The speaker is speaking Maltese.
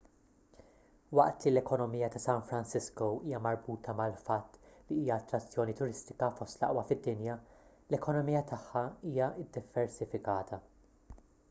waqt li l-ekonomija ta' san francisco hija marbuta mal-fatt li hija attrazzjoni turistika fost l-aqwa fid-dinja l-ekonomija tagħha hija ddiversifikata